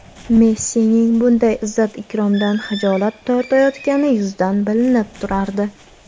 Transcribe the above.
Messining bunday izzat-ikromdan xijolat tortayotgani yuzidan bilinib turardi.